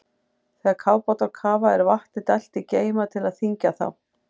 Þegar kafbátar kafa er vatni dælt í geyma til að þyngja þá.